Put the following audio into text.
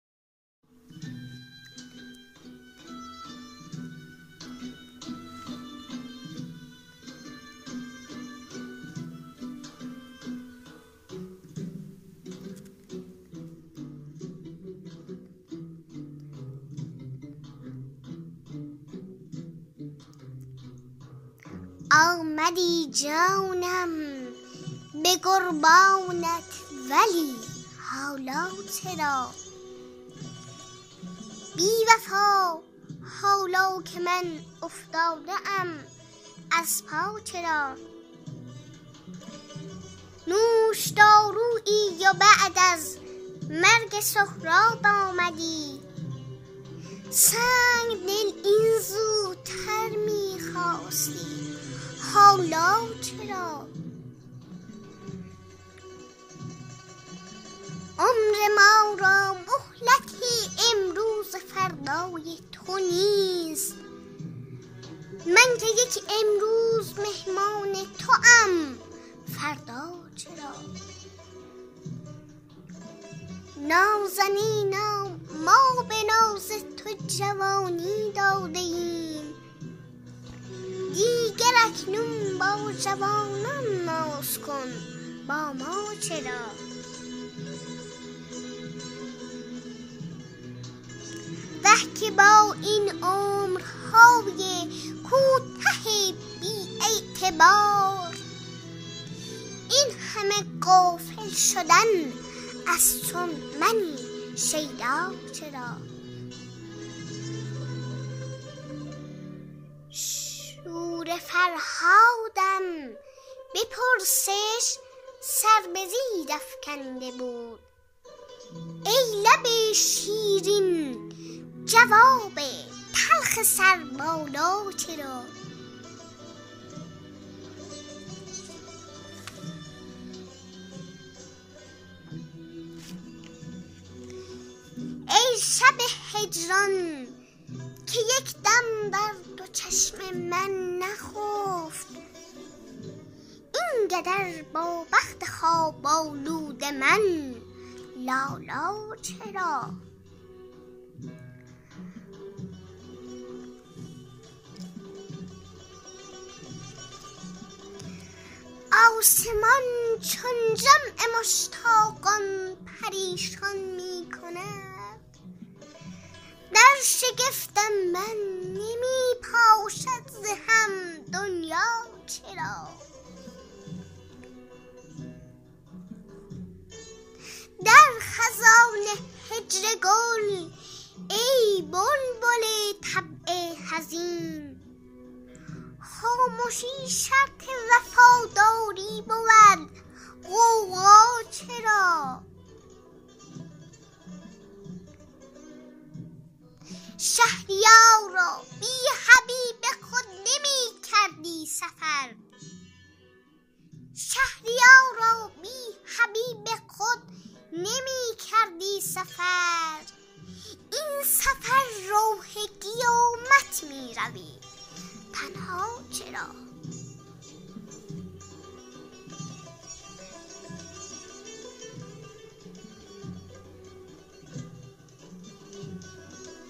آمدی جانم به قربانت ولی حالا چرا بی وفا حالا که من افتاده ام از پا چرا نوشدارویی و بعد از مرگ سهراب آمدی سنگ دل این زودتر می خواستی حالا چرا عمر ما را مهلت امروز و فردای تو نیست من که یک امروز مهمان توام فردا چرا نازنینا ما به ناز تو جوانی داده ایم دیگر اکنون با جوانان ناز کن با ما چرا وه که با این عمرهای کوته بی اعتبار این همه غافل شدن از چون منی شیدا چرا شور فرهادم به پرسش سر به زیر افکنده بود ای لب شیرین جواب تلخ سربالا چرا ای شب هجران که یک دم در تو چشم من نخفت این قدر با بخت خواب آلود من لالا چرا آسمان چون جمع مشتاقان پریشان می کند در شگفتم من نمی پاشد ز هم دنیا چرا در خزان هجر گل ای بلبل طبع حزین خامشی شرط وفاداری بود غوغا چرا شهریارا بی حبیب خود نمی کردی سفر این سفر راه قیامت می روی تنها چرا